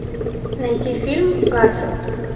найти фильм гарфилд